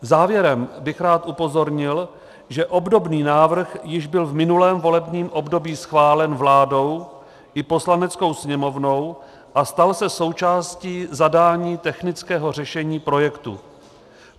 Závěrem bych rád upozornil, že obdobný návrh již byl v minulém volebním období schválen vládou i Poslaneckou sněmovnou a stal se součástí zadání technického řešení projektu.